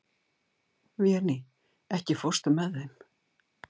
Véný, ekki fórstu með þeim?